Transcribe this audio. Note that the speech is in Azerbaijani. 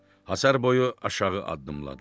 Həyəcan boyu aşağı addımladıq.